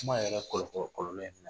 Kuma yɛrɛ kɔlɔ kɔlɔ kɔlɔlɔ ye min ye